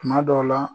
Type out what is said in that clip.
Kuma dɔw la